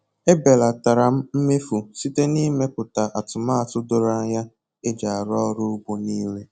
E belatara m mmefu site na ịmeputa atụmatụ doro anya eji arụ ọrụ ugbo nile